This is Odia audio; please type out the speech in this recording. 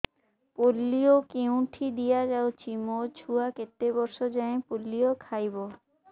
ପୋଲିଓ କେଉଁଠି ଦିଆଯାଉଛି ମୋ ଛୁଆ କେତେ ବର୍ଷ ଯାଏଁ ପୋଲିଓ ଖାଇବ